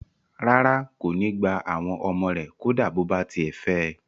Rárá, kò ní gbà àwọn ọmọ rẹ̀ kó dá bó bá tiẹ̀ fẹ̀ ẹ